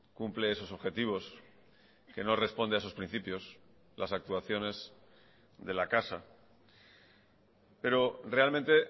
cumple esos objetivos que no responde a esos principios las actuaciones de la casa pero realmente